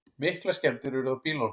Miklar skemmdir urðu á bílunum